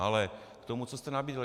Ale k tomu, co jste nabídl.